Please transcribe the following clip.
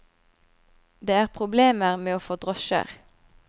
Det er problemer med å få drosjer.